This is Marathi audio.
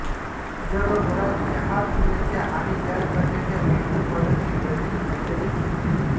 जगभरात चहा पिण्याच्या आणि तयार करण्याच्या विविध पद्धती प्रचलित असल्याचे दिसून येते